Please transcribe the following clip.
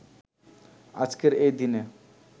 আজকের এই দিনে